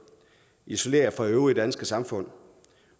isoleret fra det øvrige danske samfund